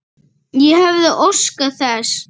Ég hefði óskað þess.